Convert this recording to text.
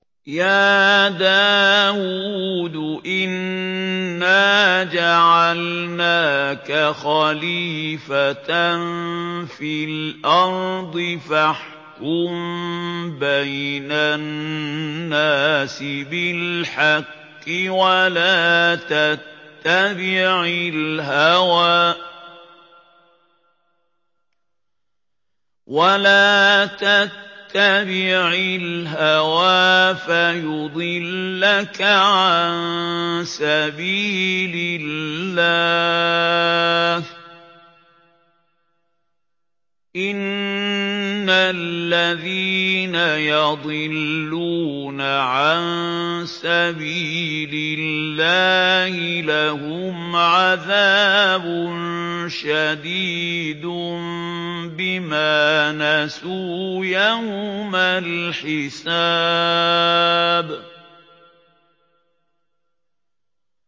يَا دَاوُودُ إِنَّا جَعَلْنَاكَ خَلِيفَةً فِي الْأَرْضِ فَاحْكُم بَيْنَ النَّاسِ بِالْحَقِّ وَلَا تَتَّبِعِ الْهَوَىٰ فَيُضِلَّكَ عَن سَبِيلِ اللَّهِ ۚ إِنَّ الَّذِينَ يَضِلُّونَ عَن سَبِيلِ اللَّهِ لَهُمْ عَذَابٌ شَدِيدٌ بِمَا نَسُوا يَوْمَ الْحِسَابِ